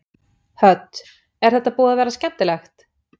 Hödd: Er þetta búið að vera skemmtilegt?